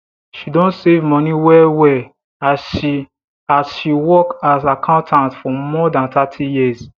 she don save money wellwell as she as she work as accountant for more than thirty years